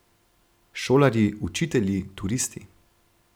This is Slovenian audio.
Šolarji, učitelji, turisti.